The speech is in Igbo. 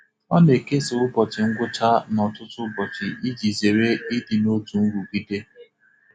Ọ na-ekesa ụbọchị ngwụcha n'ọtụtụ ụbọchị iji zere ịdị n'otu nrụgide.